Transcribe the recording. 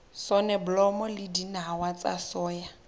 soneblomo le dinawa tsa soya